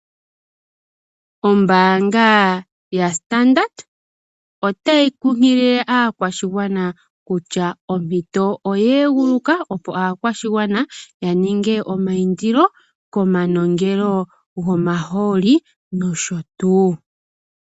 Ombaanga y Standard otayi kunkilile aakwashigwana kutya ompito oye guluka opo aakwashigwana ya ninge omayindilo komanongelo gomahooli nosho tuu.